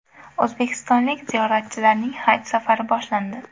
O‘zbekistonlik ziyoratchilarning haj safari boshlandi.